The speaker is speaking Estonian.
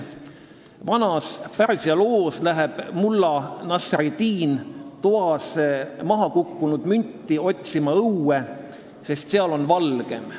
Vanas Pärsia loos läheb mulla Nasreddin toas mahakukkunud münti otsima õue, sest seal on valgem.